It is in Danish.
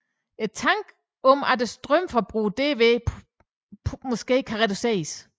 Tanken er at strømforbruget derved potentielt kan reduceres